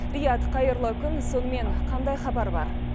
риат қайырлы күн сонымен қандай хабар бар